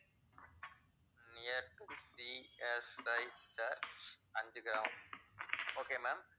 CSI church Anjugramam okay ma'am